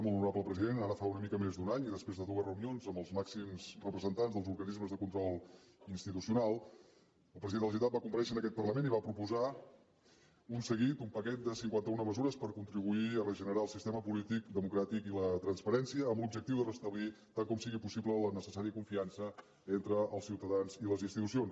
molt honorable president ara fa una mica més d’un any i després de dues reunions amb els màxims representants dels organismes de control institucional el president de la generalitat va comparèixer en aquest parlament i va proposar un seguit un paquet de cinquanta una mesures per contribuir a regenerar el sistema polític democràtic i la transparència amb l’objectiu de restablir tant com sigui possible la necessària confiança entre els ciutadans i les institucions